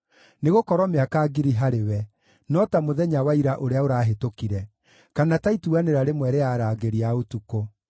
Nĩgũkorwo mĩaka ngiri harĩwe no ta mũthenya wa ira ũrĩa ũrahĩtũkire, kana ta ituanĩra rĩmwe rĩa arangĩri a ũtukũ.